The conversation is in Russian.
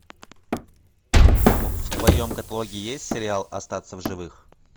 в твоем каталоге есть сериал остаться в живых